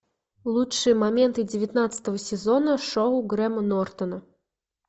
лучшие моменты девятнадцатого сезона шоу грэма нортона